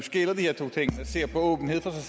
se på åbenhed for sig